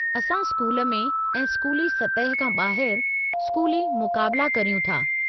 असां स्कूल में ऐं स्कूली सतह खां ॿाहिरि स्कूली मुक़ाबिला करियूं था।